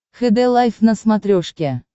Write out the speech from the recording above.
хд лайф на смотрешке